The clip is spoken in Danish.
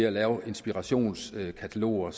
at lave inspirationskataloger